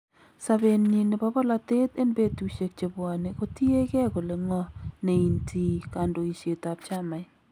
Sabeenyin nebo bolatet en betusiek chebwane kotiyekee kole ng'o neintii kandoiset ab chamait .